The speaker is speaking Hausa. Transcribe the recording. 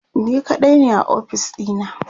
ni kaɗai ne a ofis ɗina